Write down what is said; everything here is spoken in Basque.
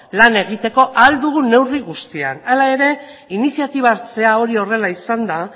lan egiteko ahal dugun neurri guztian hala ere iniziatiba hartzea hori horrela izanda